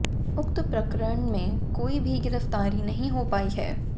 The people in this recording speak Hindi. उक्त प्रकरण में कोई भी गिरफ्तारी नहीं हो पायी है